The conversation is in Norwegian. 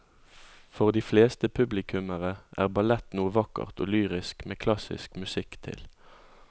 For de fleste publikummere er ballett noe vakkert og lyrisk med klassisk musikk til.